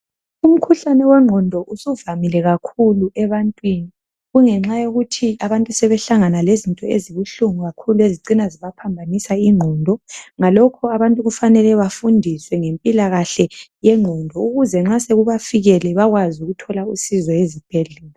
Umkhuhlane wengqondo usuvamile kakhulu ebantwini kungenxa yokuthi abantu sebehlangana lezinto ezibuhlungu kakhulu ezicina zibaphambanisa ingqondo. Ngalokho abantu kufanele bafundiswe ngempilakahle yengqondo ukuze nxa sekubafikele bakwazi ukuthola usizo ezibhedlela.